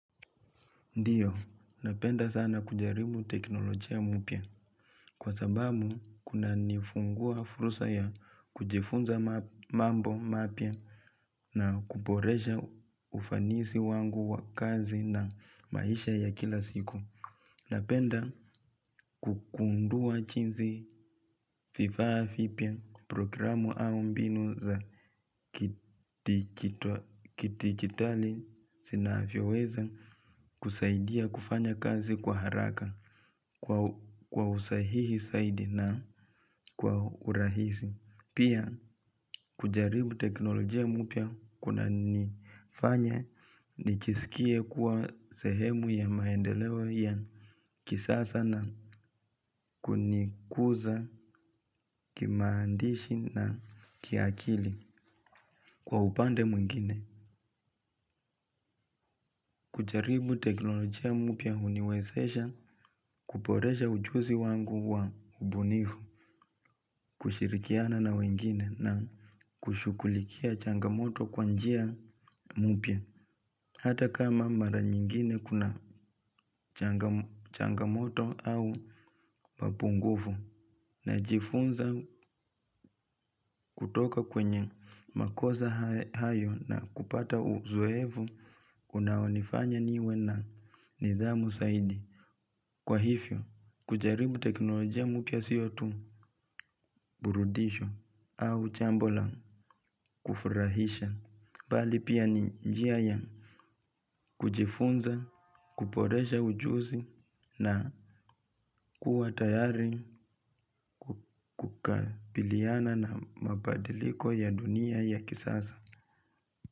Ndiyo, napenda sana kujaribu teknolojia mupya kwa sabamu kuna nifungua furusa ya kujifunza mambo mapya na kuboresha ufanisi wangu wa kazi na maisha ya kila siku. Napenda kukundua chinzi vifaa fipya programu au mbinu za kitigitali sinavyoweza kusaidia kufanya kazi kwa haraka kwa usahihi saidi na kwa urahisi. Pia kujaribu teknolojia mupya kuna nifanya nichisikie kuwa sehemu ya maendeleo ya kisasa na kunikuza kimaandishi na kiakili kwa upande mwingine. Kujaribu teknolojia mupya huniwezesha kuporesha ujuzi wangu wa ubunifu, kushirikiana na wengine na kushukulikia changamoto kwa njia mupya. Hata kama mara nyingine kuna changamoto au mapungufu najifunza kutoka kwenye makoza hayo na kupata uzoevu unawonifanya niwe na nidhamu saidi. Kwa hifyo, kujaribu teknolojia mupya siyo tu burudisho au chambo la kufurahisha. Bali pia ni njia ya kujifunza, kuporesha ujuzi na kuwa tayari kukabiliana na mabadiliko ya dunia ya kisasa.